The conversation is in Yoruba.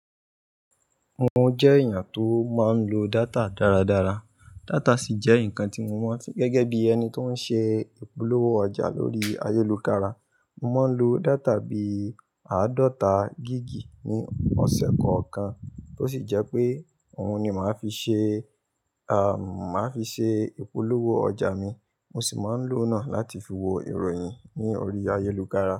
Mo jẹ́ èèyàn tó máa ń lo data dáradára. Data sì jẹ́ nǹkan tí mo mọ̀ gẹ́gẹ́ bí ẹni tó ń ṣe ìpolówó ọjà lórí ayélukára. Mo máa ń lo data bí àádọ́ta giggi ní ọ̀sẹ̀ kọ̀ọ̀kan tó sì jẹ́ pé òun ni màá fi ṣe, à, màá fi ṣe ìpolówó ọjà mi. Mo sì máa ń lò ó náà láti fi wo ìròyìn ní orí ayélukára.